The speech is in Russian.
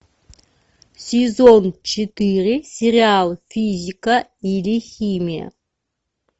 сезон четыре сериал физика или химия